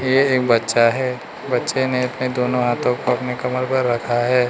ये एक बच्चा है बच्चे ने अपने दोनों हाथों को अपने कमर पर रखा है।